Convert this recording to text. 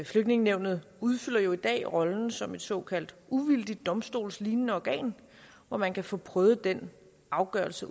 flygtningenævnet udfylder jo i dag rollen som et såkaldt uvildigt domstolslignende organ hvor man kan få prøvet den afgørelse